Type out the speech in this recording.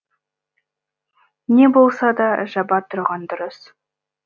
не болса да жаба тұрған дұрыс